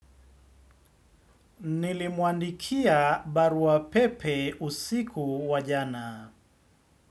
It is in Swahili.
Nilimwandikia barua pepe usiku wa jana.